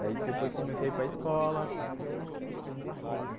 Daí depois comecei a ir para a escola.